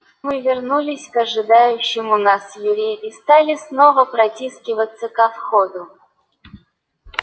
мы вернулись к ожидающему нас юре и стали снова протискиваться ко входу